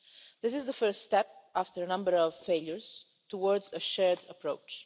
This is the first step, after a number of failures, towards a shared approach.